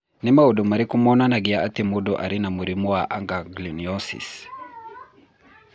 Nĩ maũndũ marĩkũ monanagia atĩ mũndũ arĩ na mũrimũ wa Aganglionosis?